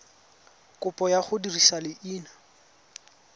kopo ya go dirisa leina